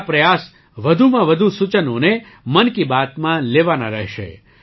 મારા પ્રયાસ વધુમાં વધુ સૂચનોને મન કી બાતમાં લેવાના રહેશે